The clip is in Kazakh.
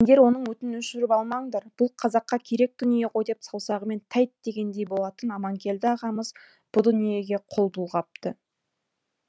сендер оның отын өшіріп алмаңдар бұл қазаққа керек дүние ғой деп саусағымен тәйт дегендей болатын аманкелді ағамыз бұ дүниеге қол бұлғапты